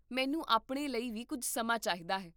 ਮੈਨੂੰ ਆਪਣੇ ਲਈ ਵੀ ਕੁੱਝ ਸਮਾਂ ਚਾਹੀਦਾ ਹੈ